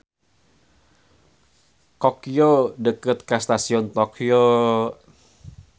Kokyo deukeut ka Stasion Tokyo.